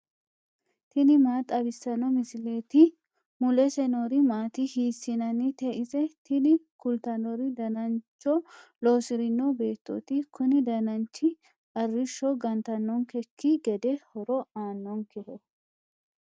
tini maa xawissanno misileeti ? mulese noori maati ? hiissinannite ise ? tini kultannori danancho lossirino beettooti. kuni dananchi arrisho gantannonkekki gede horo aannonkeho.